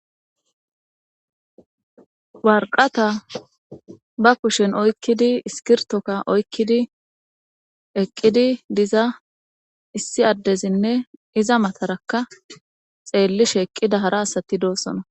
Warqata ba kushen oykkidi iskirtoka oykkidi eqqidi diza issi addezinne iza matarakka xeellishe eqqida hara asati doosona.